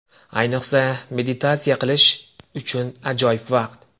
Ayniqsa, meditatsiya qilish uchun ajoyib vaqt.